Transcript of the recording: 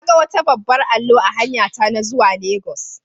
Na ga wata babban allo a hanyata na zuwa legas.